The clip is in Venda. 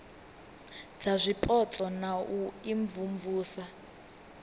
dza zwipotso na u imvumvusa